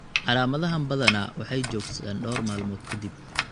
Calaamadahaan badanaa waxay joogsadaan dhowr maalmood ka dib.